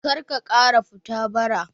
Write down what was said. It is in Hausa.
Karka ƙara fita bara